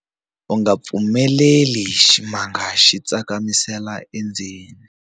U nga pfumeleli ximanga xi tsakamisela endzeni.